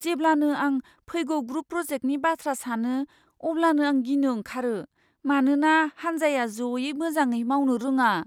जेब्लानो आं फैगौ ग्रुप प्रजेक्टनि बाथ्रा सानो अब्लानो आं गिनो ओंखारो मानोना हान्जाया ज'यै मोजाङै मावनो रोङा।